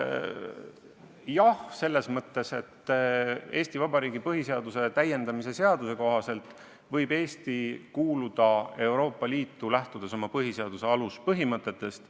Jah, selles mõttes, et Eesti Vabariigi põhiseaduse täiendamise seaduse kohaselt võib Eesti kuuluda Euroopa Liitu, lähtudes oma põhiseaduse aluspõhimõtetest.